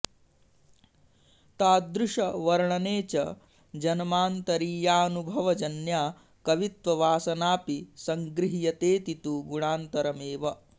तादृशवर्णने च जन्मान्तरीयानुभव जन्या कवित्ववासनाऽपि संगृह्यतेति तु गुणान्तरमेव